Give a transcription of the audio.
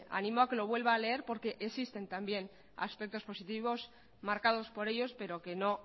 animo a que lo vuelva a leer porque existen también aspectos positivos marcados por ellos pero que no